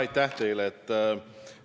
Aitäh teile!